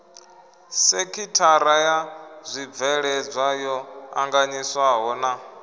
sekithara ya zwibveledzwa yo anganyiswahona